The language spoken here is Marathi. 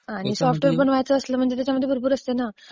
आणि सॉफ्टवेअर बनवायचं असलं म्हणजे त्याच्यामध्ये भरपूर असते ना.